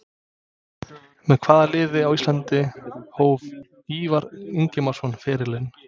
Með hvaða liði á Íslandi hóf Ívar Ingimarsson ferilinn?